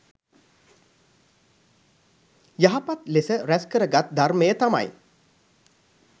යහපත් ලෙස රැස් කරගත් ධර්මය තමයි